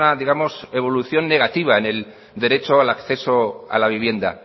digamos una evolución negativa en el derecho al acceso a la vivienda